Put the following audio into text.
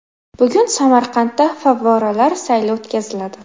Bugun Samarqandda favvoralar sayli o‘tkaziladi.